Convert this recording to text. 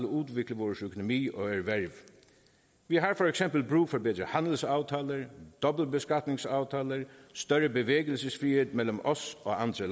udvikle vores økonomi og erhverv vi har for eksempel brug for at visse handelsaftaler dobbeltbeskatningsaftaler større bevægelsesfrihed mellem os og andre